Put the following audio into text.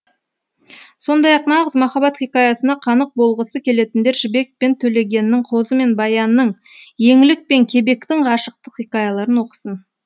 сондай ақ нағыз махаббат хикаясына қанық болғысы келетіндер жібек пен төлегеннің қозы мен баянның еңлік пен кебектің ғашықтық хикаяларын оқысын